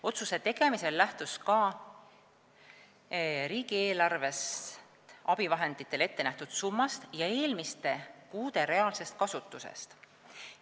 Otsuse tegemisel lähtus SKA riigieelarves abivahenditele ettenähtud summast ja eelmiste kuude reaalsest kasutusest.